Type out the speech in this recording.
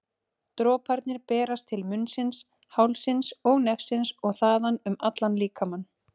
Droparnir berast til munnsins, hálsins og nefsins og þaðan um allan líkamann.